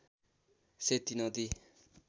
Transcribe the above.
सेती नदी